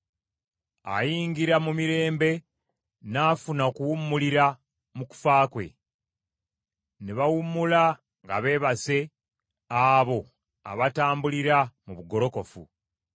Ayingira mu mirembe n’afuna okuwummulira mu kufa kwe, ne bawummula ga beebase, abo abatambulira mu bugolokofu.